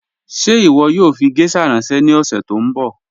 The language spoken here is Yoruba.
Ṣẹ iwọ yoo fi gẹ̀shà ranṣẹ ni ọ̀ṣẹ̀ tó nbọ?